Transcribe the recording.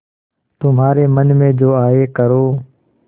तुम्हारे मन में जो आये करो